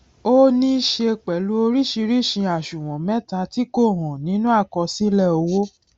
ó níí ṣe pẹlú oríṣìíríṣìí àṣùwòn mẹta tí kò hàn nínú àkọsílẹ owó